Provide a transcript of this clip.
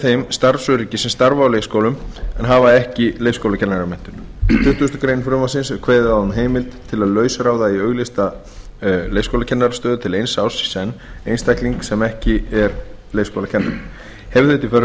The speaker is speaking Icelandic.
þeim starfsöryggi sem starfa á leikskólum en hafa ekki leikskólakennaramenntun í tuttugustu greinar frumvarpsins er kveðið á um heimild til að lausráða eigi auglýsta leikskólakennarastöðu til eins árs í senn einstakling sem ekki er leikskólakennari hefði þetta í för